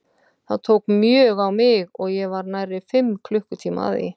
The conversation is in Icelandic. Það tók mjög á mig og ég var nærri fimm klukkutíma að því.